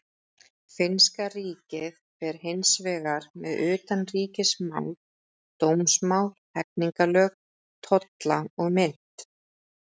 Finnska ríkið fer hins vegar með utanríkismál, dómsmál, hegningarlög, tolla og mynt.